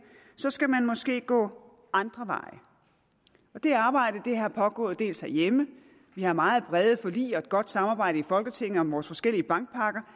skal man måske gå andre veje og det arbejde har pågået dels herhjemme vi har meget brede forlig og et godt samarbejde i folketinget om vores forskellige bankpakker